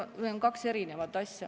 Need on kaks eri asja.